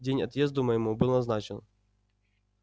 день отъезду моему был назначен